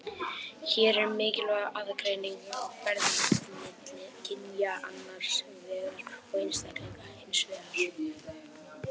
Hér er mikilvæg aðgreining á ferð milli kynja annars vegar og einstaklinga hins vegar.